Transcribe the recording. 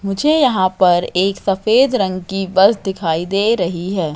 मुझे यहां पर एक सफेद रंग की बस दिखाई दे रही है।